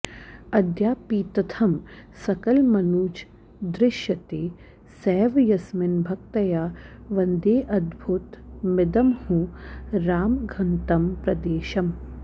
अद्यापीत्थं सकलमनुजैर्दृश्यते सैव यस्मिन् भक्त्या वन्देऽद्भुतमिदमहो रामघङ्क्तं प्रदेशम्